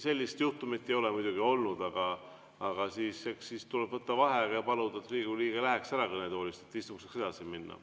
Sellist juhtumit ei ole muidugi olnud, aga eks siis tuleb võtta vaheaeg ja paluda, et Riigikogu liige läheks ära kõnetoolist, et istung saaks edasi minna.